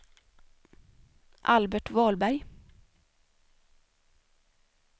Albert Wahlberg